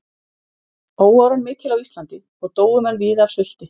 Óáran mikil á Íslandi og dóu menn víða af sulti.